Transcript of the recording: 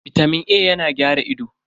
Bitamin A yana gyara ido.